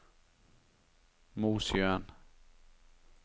Mosjøen